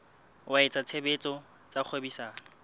wa etsa tshebetso tsa kgwebisano